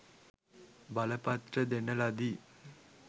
බලපත්‍ර දෙන ලදි